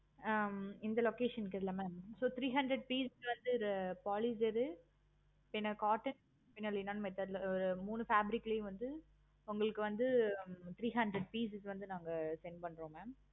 ஆஹ் இந்த location க்கு இருக்குல்ல mam so three hundred pieces வந்து polyester பின்ன cotton பின்ன method ஒரு மூணு fabric ளையும் வந்து உங்களுக்கு வந்து three hundred piece க்கு வந்து நாங்க send பண்றோம் mam